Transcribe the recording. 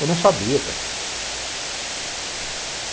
Eu não sabia cara.